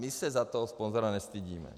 My se za toho sponzora nestydíme.